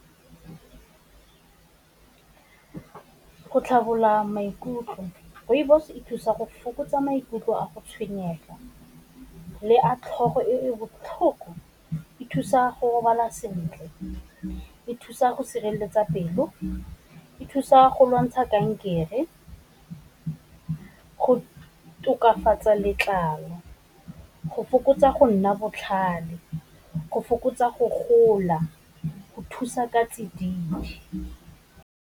Go tlharola maikutlo. Rooibos e thusa go fokotsa maikutlo a go tshwenyeg, le a tlhogo e botlhoko, e thusa go robala sentle, e thusa go sireletsa pelo, e thusa go lwantsha kankere, go tokafatsa letlalo, fokotsa go nna botlhale, go fokotsa go gola, go thusa ka tsididi.